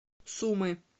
сумы